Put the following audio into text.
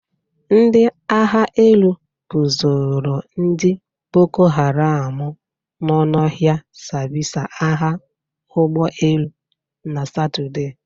Ndị agha elu bụsoro ndị boko haram nọ n'ọhịa sambịsa agha ụgbọelu na Satọde.